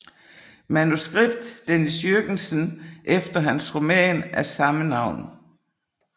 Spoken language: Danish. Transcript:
Manuskript Dennis Jürgensen efter hans roman af samme navn